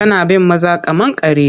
Tana bin maza kamar karya.